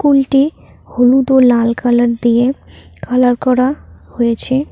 School -টি হলুদ ও লাল কালার দিয়ে কালার করা হয়েছে।